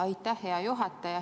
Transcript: Aitäh, hea juhataja!